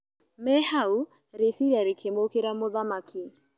Me hau rĩciria rĩkĩmũkĩra mũthamaki.